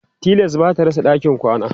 tilas bata rasa ɗakin kwana